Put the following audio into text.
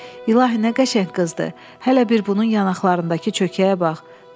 İlahi nə qəşəng qızdır, hələ bir bunun yanaqlarındakı çökəyə bax.